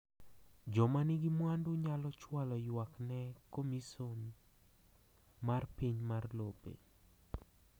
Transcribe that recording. Joma nigi mwandu nyalo chwalo ywak ne Komision mar Piny mar lope.